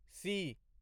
C